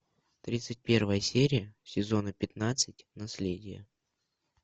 тридцать первая серия сезона пятнадцать наследие